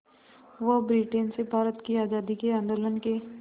वो ब्रिटेन से भारत की आज़ादी के आंदोलन के